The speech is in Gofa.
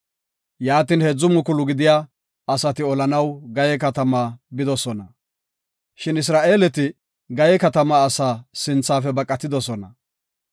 Yaatin, heedzu mukulu gidiya asati olanaw Gayee katamaa bidosona. Shin Isra7eeleti Gayee katamaa asaa sinthafe baqatidosona.